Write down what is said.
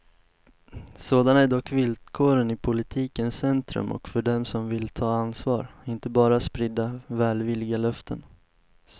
Sådana är dock villkoren i politikens centrum och för dem som vill ta ansvar, inte bara sprida välvilliga löften.